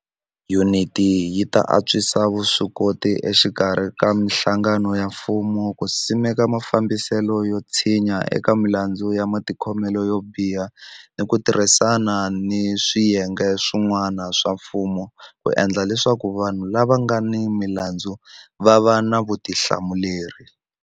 Yuniti yi ta antswisa vuswikoti exikarhi ka mihlangano ya mfumo ku simeka mafambiselo yo tshinya eka milandzu ya matikhomelo yo biha ni ku tirhisana ni swiyenge swi n'wana swa mfumo ku endla leswaku vanhu lava nga ni milandzu va va ni vutihlamuleri.